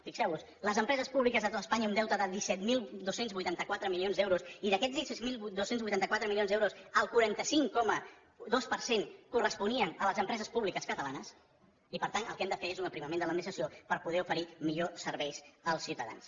fixeu vos les empreses públiques de tot espanya un deute de disset mil dos cents i vuitanta quatre milions d’euros i d’aquests disset mil dos cents i vuitanta quatre milions d’euros el quaranta cinc coma dos per cent corresponien a les empreses públiques catalanes i per tant el que hem de fer és un aprimament de l’administració per poder oferir millors serveis als ciutadans